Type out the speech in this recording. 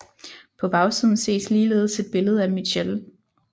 På bagsiden ses ligeledes et billede af Mitchell